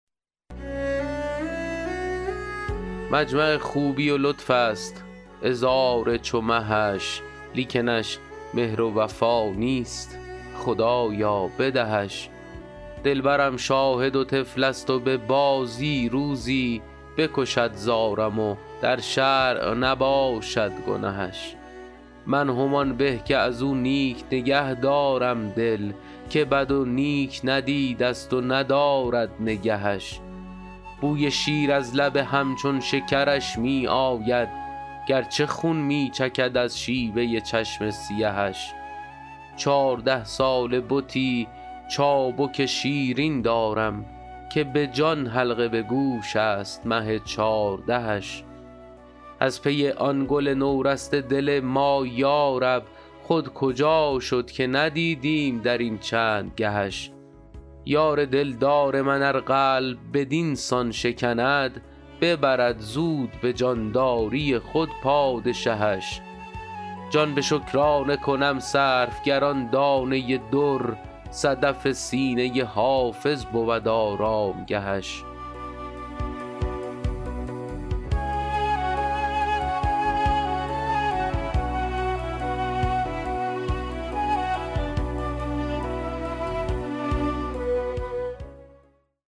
مجمع خوبی و لطف است عذار چو مهش لیکنش مهر و وفا نیست خدایا بدهش دلبرم شاهد و طفل است و به بازی روزی بکشد زارم و در شرع نباشد گنهش من همان به که از او نیک نگه دارم دل که بد و نیک ندیده ست و ندارد نگهش بوی شیر از لب همچون شکرش می آید گرچه خون می چکد از شیوه چشم سیهش چارده ساله بتی چابک شیرین دارم که به جان حلقه به گوش است مه چاردهش از پی آن گل نورسته دل ما یارب خود کجا شد که ندیدیم در این چند گهش یار دلدار من ار قلب بدین سان شکند ببرد زود به جانداری خود پادشهش جان به شکرانه کنم صرف گر آن دانه در صدف سینه حافظ بود آرامگهش